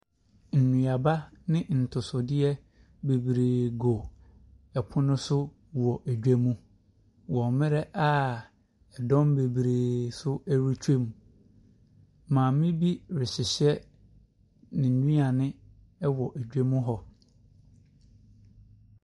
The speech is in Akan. Nnuaba ne atosodeɛ Bebree gu pono so wɔ dwa mu wɔ mmerɛ a ɛdɔm bebree nso retwa mu. Maame bi rehyehyɛ ne nnuane wɔ dwam hɔ.